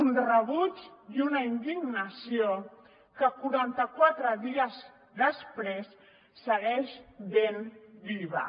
un rebuig i una indignació que quaranta quatre dies després segueixen ben vius